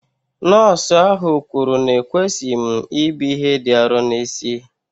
Nọọsụ ahụ kwuru na ekwesịghị m ibu ihe dị arọ n'isi